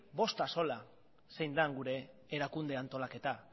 bost axola zein den gure erakunde antolaketa